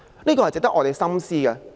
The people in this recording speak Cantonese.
這是值得我們深思的。